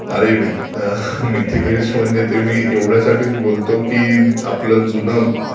अरे मिथिदा....मिथिलेश म्हणजे ते मी एवढ्याचसाठी बोलतो की आपलं जुनं